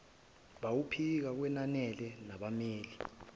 bawaphike kwenanele nabammeli